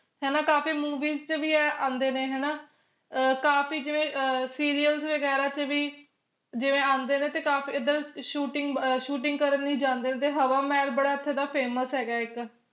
ਹਣਾ ਕਾਫੀ movies ਚ ਵੀ ਆ ਆਂਦੇ ਨੇ ਹਨਾ ਕਾਫੀ ਜਿਵੇ serials ਵਗੈਰਾ ਚ ਵੀ ਜਿਵੇ ਆਂਦੇ ਨੇ ਤੇ ਕਾਫੀ ਏਧਰ shooting ਅਹ shooting ਕਰਨ ਵੀ ਜਾਂਦੇ ਹੁੰਦੇ ਹਾਵਮਹਾਲ ਬੜਾ ਇਥੇ famous ਹੈਗਾ ਇਕ